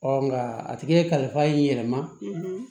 nka a tigi ye kalifa i yɛrɛ ma